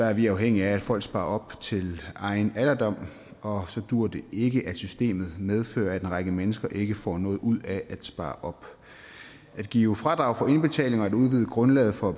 er vi afhængige af at folk sparer op til egen alderdom og så duer det ikke at systemet medfører at en række mennesker ikke får noget ud af at spare op at give fradrag for indbetalinger og at udvide grundlaget for